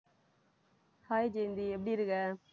hi Jayanthi எப்படி இருக்க